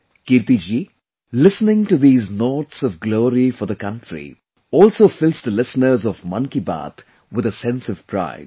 Kirti ji, listening to these notes of glory for the country also fills the listeners of Mann Ki Baat with a sense of pride